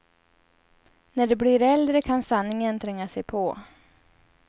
När de blir äldre kan sanningen tränga sig på.